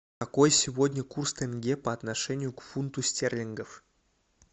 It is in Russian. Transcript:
какой сегодня курс тенге по отношению к фунту стерлингов